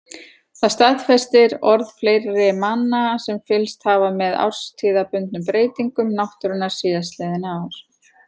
Það staðfestir orð fleiri manna sem fylgst hafa með árstíðabundnum breytingum náttúrunnar síðastliðin ár.